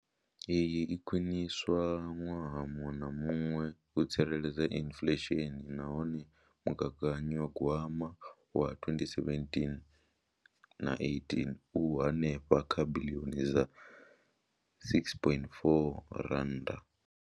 Iyi i a khwiniswa ṅwaha muṅwe na muṅwe u tsireledza inflesheni nahone mugaganyagwama wa 2017 na 18 u henefha kha biḽioni dza R6.4.